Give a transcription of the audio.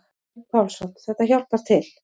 Örn Pálsson: Þetta hjálpar til.